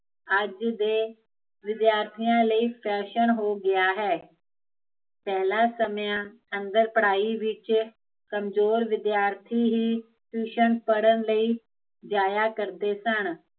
ਅੱਜ ਦੇ, ਵਿਦਿਆਰਥੀਆ ਲਈ ਫੈਸ਼ਨ ਹੋ ਗਿਆ ਹੈ ਪਹਿਲਾਂ ਸਮਿਆ ਅੰਦਰ ਪੜਾਈ ਵਿੱਚ, ਕਮਜ਼ੋਰ ਵਿਦਿਆਰਥੀ ਹੀਂ ਪੜਨ ਲਈ, ਜਾਇਆ ਕਰਦੇ ਸਨ